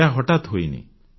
ଏହା ହଠାତ୍ ହୋଇନି